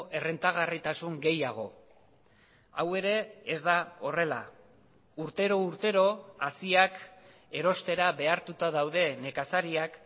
errentagarritasun gehiago hau ere ez da horrela urtero urtero haziak erostera behartuta daude nekazariak